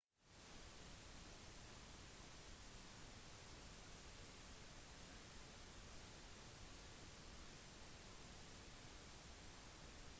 det er sjeldent med familier med barn men enkelte vertskap legger til rette for dem i private rom